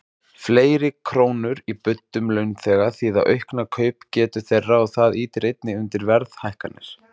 Fleiri krónur í buddum launþega þýða aukna kaupgetu þeirra og það ýtir einnig undir verðhækkanir.